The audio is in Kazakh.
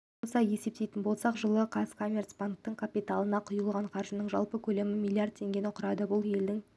қоса есептейтін болсақ жылы қазкоммерцбанктің капиталына құйылған қаржының жалпы көлемі миллиард теңгені құрады бұл елдің